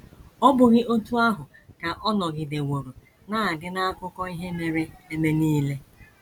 Ọ́ bụghị otú ahụ ka ọ nọgideworo na - adị n’akụkọ ihe mere eme nile?